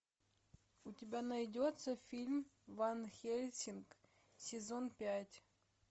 у тебя найдется фильм ван хельсинг сезон пять